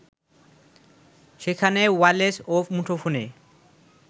সেখানে ওয়্যালেস ও মুঠোফোনে